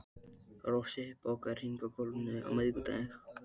Rósey, bókaðu hring í golf á miðvikudaginn.